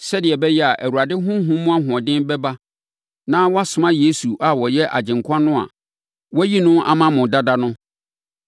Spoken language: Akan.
sɛdeɛ ɛbɛyɛ a, Awurade Honhom mu ahoɔden bɛba na wasoma Yesu a ɔyɛ Agyenkwa no a wayi no ama mo dada no.